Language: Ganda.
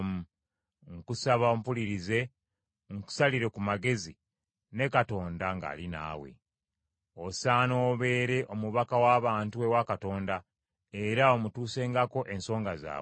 Nkusaba ompulirize nkusalire ku magezi, ne Katonda ng’ali naawe. Osaana obeere omubaka w’abantu ewa Katonda, era omutuusengako ensonga zaabwe.